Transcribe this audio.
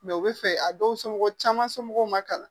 u bɛ fɛ a dɔw somɔgɔ caman somɔgɔw ma kalan